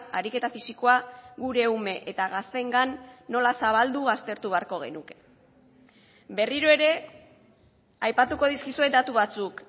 ariketa fisikoa gure ume eta gazteengan nola zabaldu aztertu beharko genuke berriro ere aipatuko dizkizuet datu batzuk